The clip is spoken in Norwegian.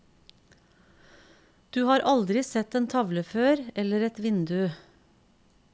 Du har aldri sett en tavle før, eller et vindu.